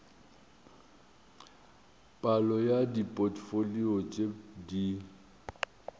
palo ya dipotfolio tše di